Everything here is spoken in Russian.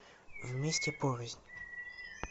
вместе порознь